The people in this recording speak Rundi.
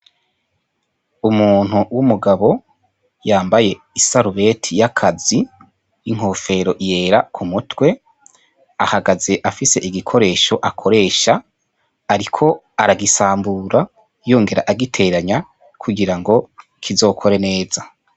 Umuntu w'umugabo yambaye isarubeti y'akazi inkofero yera ku mutwe ahagaze afise igikoresho akoresha, ariko aragisambura yongera agiteranya kugira ngo kizokore neza.